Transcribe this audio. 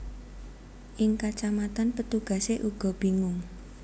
Ing kacamatan petugase uga bingung